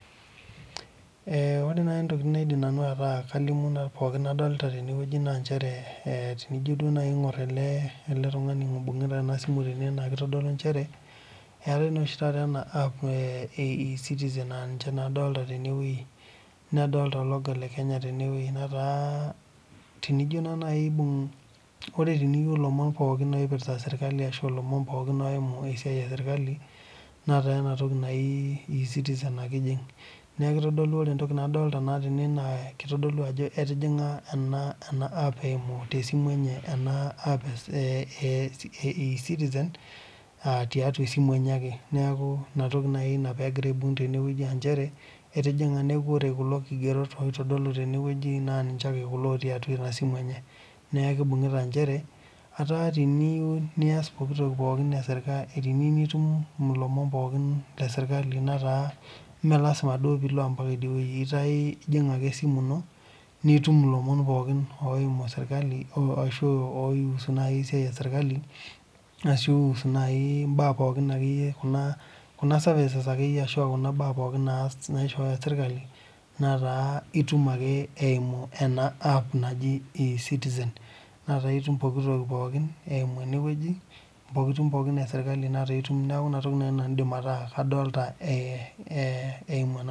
Ore naaji ntokitin naidim atolimu nadolita pookin tene naa tenijo duo aing'or ele tung'ani oibungita ena simu naa njere etae naa oshi taata ena app ee ecitizen naa ninye adolita tenewueji nadolita ologo lekenya tenewueji naa tenijo naijio aibung ore teniyieu elomon pookin oipirta sirkali arashu elomon eyimu esiai esirkali netaa ena toki naaji ecitizen ake ejing neeku kitodolu ore entoki nadolita tene naa kitodolu Ajo etejinga ena app eyimu tee simu enye ee ecitizen tiatua esimu enye ake neeku ena pee egira aibung aa njere etijing'a neeku ore kulo kigerot oitodolu tenewueji neeku ninche ake kulo otii atua enasimu enye neeku kibung'ita njere etaa teniyieu nitum elomon pookin lee sirkali netaa mee mee lasima pee elo mbaka edio wueji etaa ejing ake esimu ino nitum elomon pookin oihusu naaji esiai ee sirkali ashu naaji mbaa pookin ashua Kuna services naipirta sirkali alnaishooyo sirkali netaa etum ake eyimu ena app naaji Ecitizen netaa etum pooki toki pookin eyimu enewueji ntokitin pookin esirkali netaa etum eyimu ena toki